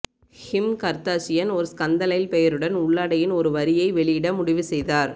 கிம் Kardashian ஒரு ஸ்கந்தலைல் பெயருடன் உள்ளாடையின் ஒரு வரியை வெளியிட முடிவு செய்தார்